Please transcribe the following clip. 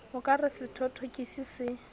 o ka re sethothokisi se